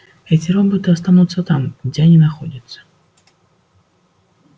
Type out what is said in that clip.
эти роботы останутся там где они находятся